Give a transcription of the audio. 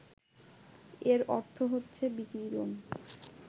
এর অর্থ হচ্ছে বিকিরণ